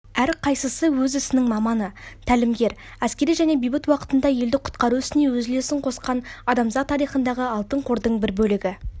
әрқайсысы өз ісінің маманы тәлімгер әскери және бейбіт уақытында елді құтқару ісіне өз үлесін қосқан адамзат тарихындағы алтын қордың бір бөлігі